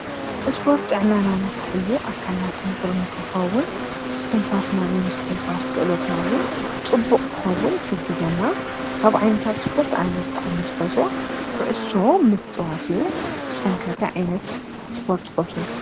እስጶርት ጥዕናናና ኸሕሉ ኣብ ካልና ጥንክሩ ንክኸውን ስትንፋስናናይ ምስ ትንፋስ ክእሎትናውን ጥቡቕ ክኸውን ሕግዘና ካብ ዓይነታት ስጶርት ኣነብ ጥዓ ምስ ፈሶ ዂዑሶ ምጽዋትዩ ሶምከተ ዓይነት ስጶርት ፈቱ